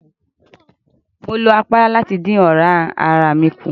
Mo lo àpárá láti dín ọ̀rá ara mi kùn.